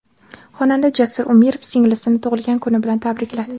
Xonanda Jasur Umirov singlisini tug‘ilgan kuni bilan tabrikladi.